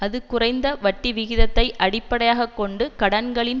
அது குறைந்த வட்டிவிகிதத்தை அடிப்படையாக கொண்டு கடன்களின்